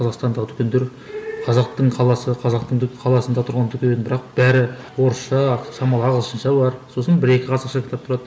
қазақстандағы дүкендер қазақтың қаласы қазақтың қаласында тұрған дүкен бірақ бәрі орысша шамалы ағылшынша бар сосын бір екі қазақша кітап тұрады